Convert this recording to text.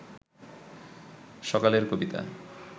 সকালের কবিতা